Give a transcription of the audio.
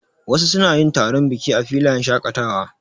Wasu suna yin taron biki a filayen shaƙatawa.